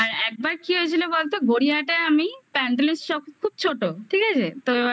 আর একবার কি হয়েছিল বলতো গড়িয়াহাটে আমি প্যান্ডেলের সব খুবছোট ঠিক আছে?